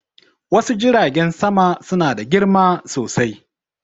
Wasu Jiragen sama suna da girma sosai.